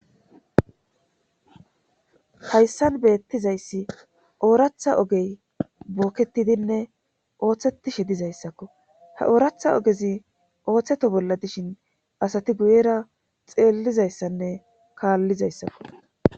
hayssan beettizayssi ooratha ogey bookketidinne ooththetishe dizayssakko ha ooratha ogezi ooththeto bolla dishin asati guyera xeellizayssanne kaallizayssakko